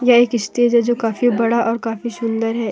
एक स्टेज है जो काफी बड़ा और काफी सुंदर है।